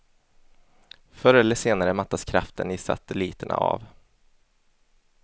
Förr eller senare mattas kraften i satelliterna av.